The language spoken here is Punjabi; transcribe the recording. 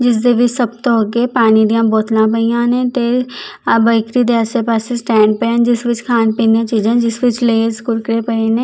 ਜਿਸ ਦੇ ਵਿੱਚ ਸਭ ਤੋਂ ਅੱਗੇ ਪਾਣੀ ਦੀਆਂ ਬੋਤਲਾਂ ਪਈਆਂ ਨੇ ਤੇ ਆ ਬਾਈਕਰੀ ਦੇ ਆਸੇ ਪਾਸੇ ਸਟੈਂਡ ਪਏ ਜਿਸ ਵਿੱਚ ਖਾਣ ਪੀਣ ਦੀਆਂ ਚੀਜ਼ਾਂ ਜਿਸ ਵਿੱਚ ਲੇਸ ਕੁਰਕੁਰੇ ਪਏ ਨੇ।